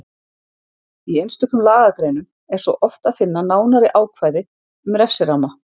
Í einstökum lagagreinum er svo oft að finna nánari ákvæði um refsiramma.